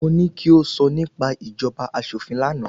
Mo ní ki o sọ nípa ìjọba aṣòfin lánàá